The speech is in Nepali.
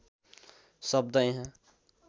शब्द यहाँ